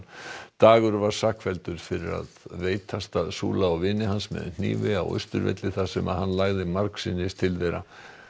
dagur var sakfelldur fyrir að veitast að Sula og vini hans með hnífi á Austurvelli þar sem hann lagði margsinnis til þeirra